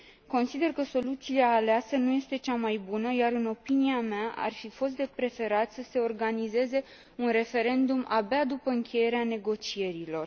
Consider că soluția aleasă nu este cea mai bună iar, în opinia mea, ar fi fost de preferat să se organizeze un referendum abia după încheierea negocierilor.